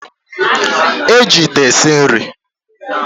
E ji ite esi nri.